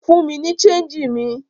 Fún mi ní ṣéńjì mi!